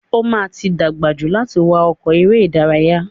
O ma ti dàgbà jù láti wá ọkọ̀ eré ìdárayá.